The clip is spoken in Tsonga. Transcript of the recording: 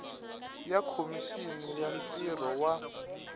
ya khomixini ya ntirho wa